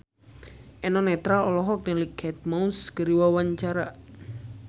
Eno Netral olohok ningali Kate Moss keur diwawancara